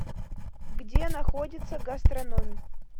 где находится гастрономъ